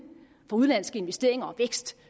af de udenlandske investeringer og af vækst